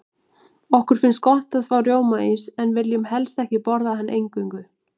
Okkur finnst gott að fá rjómaís, en viljum helst ekki borða hann eingöngu.